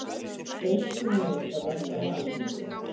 Deilt um megavött á Alþingi